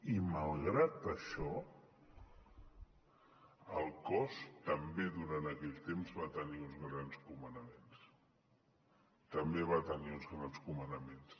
i malgrat això el cos també durant aquell temps va tenir uns grans comandaments també va tenir uns grans comandaments